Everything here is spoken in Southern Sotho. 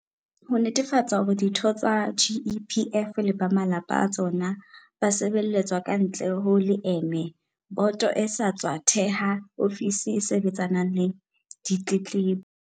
Ho netefatsa hore ditho tsa GEPF le ba malapa a tsona ba sebeletswa kantle ho leeme, boto e sa tswa theha ofisi e sebetsanang le ditletlebo.